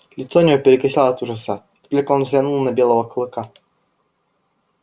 лицо у него перекосило от ужаса как только он взглянул на белого клыка